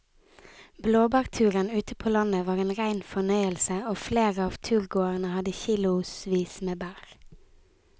Blåbærturen ute på landet var en rein fornøyelse og flere av turgåerene hadde kilosvis med bær.